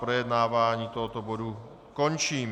Projednávání tohoto bodu končím.